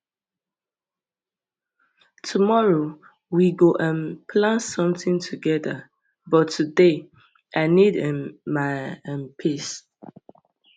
tomorrow we go um plan sometin togeda but today i need um my um peace